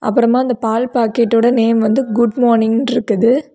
அப்புறமா அந்த பால் பாக்கெட்டோட நேம் வந்து குட் மார்னிங் ன்னு இருக்குது.